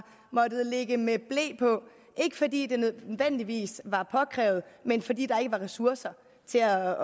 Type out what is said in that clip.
måttet ligge med ble på ikke fordi det nødvendigvis var påkrævet men fordi der ikke var ressourcer til at